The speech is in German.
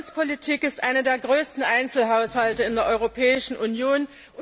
Die Kohäsionspolitik ist einer der größten Einzelhaushalte in der Europäischen Union.